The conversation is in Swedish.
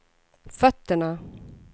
fötterna